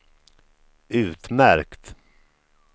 utmärkt